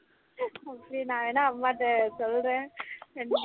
okay நா வேணா அம்மாட்ட சொல்லுறேன்